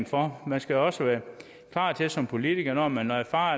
for man skal også være klar til som politiker når man erfarer